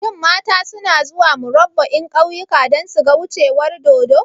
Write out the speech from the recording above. Shin mata suna zuwa Murabba'in kauyuka don suga wucewar dodo?